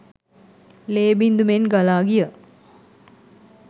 ලේ බිංදු මෙන් ගලා ගිය